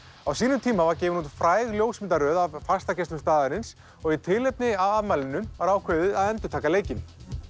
á sínum tíma var gefin út fræg ljósmyndaröð af fastagestum staðarins og í tilefni af afmælinu var ákveðið að endurtaka leikinn